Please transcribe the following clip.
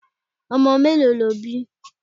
Omo mélòó lo bí?